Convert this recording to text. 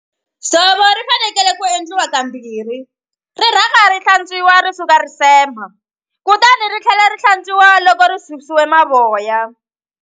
Dzovo ri fanekele ku endliwa kambirhi ri rhanga ri hlantswiwa ri suka risema kutani ri tlhela ri hlantswiwa loko ri susiwe mavoya.